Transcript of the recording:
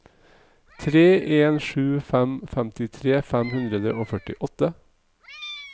tre en sju fem femtitre fem hundre og førtiåtte